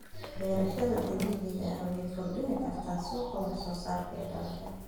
Beerashada dabiiciga ah waxay kordhin kartaa suuqa wax soo saarka ee dalka.